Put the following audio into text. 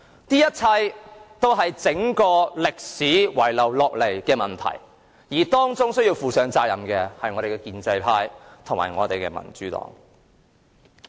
這一切都是歷史遺留下來的問題，而當中需要負上責任的便是建制派和民主黨。